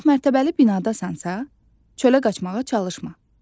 Əgər çoxmərtəbəli binadasansa, çölə qaçmağa çalışma.